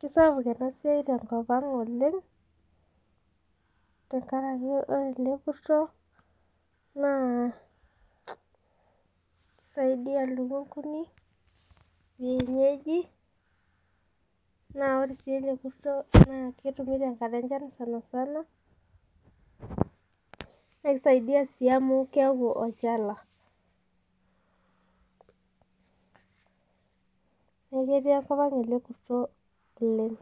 Kesapuk emasia tenkopaang oleng tenkaraki ore ele kurto na kisaidia lukunguni naore si ele kurto na ketumi tenkata enchan na kisaidia si amu keaku olchala neaku ketii enkopang ele kurto oleng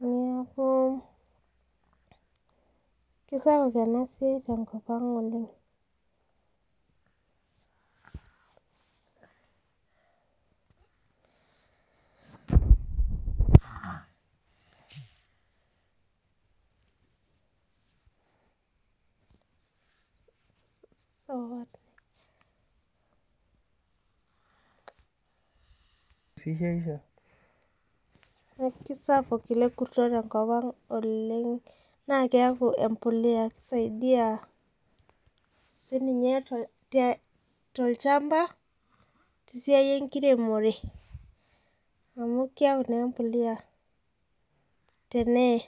neaku kesapuk enasiai tenkop aang oleng sawa kesapuk oleng na keaku empolea kisaidia tolchamba tesia enkiremore amu keaku empolea tenee .